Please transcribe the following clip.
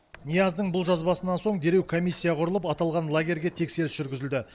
нияздың бұл жазбасынан соң дереу комиссия құрылып аталған лагерьге тексеріс жүргізілді